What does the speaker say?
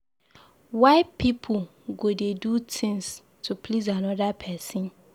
Why people go dey do things to please another person.